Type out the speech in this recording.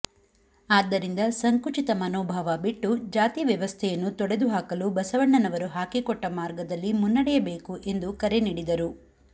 ಆದ್ದರಿಂದ ಸಂಕುಚಿತ ಮನೋಭಾವ ಬಿಟ್ಟು ಜಾತಿ ವ್ಯವಸ್ಥೆಯನ್ನು ತೊಡೆದು ಹಾಕಲು ಬಸವಣ್ಣನವರು ಹಾಕಿಕೊಟ್ಟ ಮಾರ್ಗದಲ್ಲಿ ಮುನ್ನಡೆಯಬೇಕು ಎಂದು ಕರೆ ನೀಡಿದರು